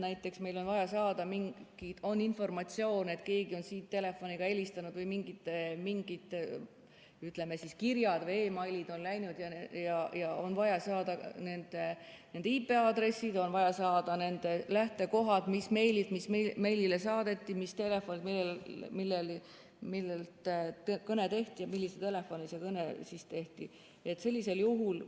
Näiteks, meil on informatsioon, et keegi on telefoniga helistanud või mingid, ütleme, kirjad või meilid on läinud ja on vaja saada nende IP-aadressid, on vaja saada nende lähtekohad, mis meilid millisele meiliaadressile saadeti, milliselt telefonilt kõne tehti ja millisele telefonile.